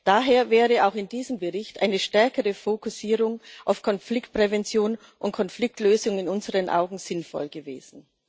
Daher wäre auch in diesem Bericht eine stärkere Fokussierung auf Konfliktprävention und Konfliktlösung in unseren Augen sinnvoll gewesen.